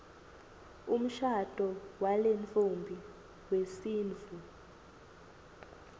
umshado walentfombi wesintfu